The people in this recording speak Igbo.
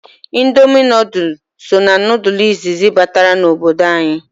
Indomi nodulu so na nodulu isisi batara n'obodo anyị.